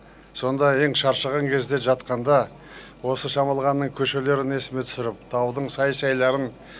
сонда ең шаршаған кезде жатқанда осы шамалғанның көшелерін есіме түсіріп таудың сай сайларын